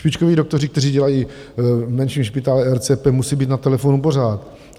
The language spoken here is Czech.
Špičkoví doktoři, kteří dělají v menším špitále RCP, musí být na telefonu pořád.